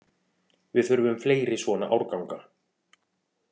Við þurfum fleiri svona árganga